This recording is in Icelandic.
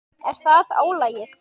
Er það álagið?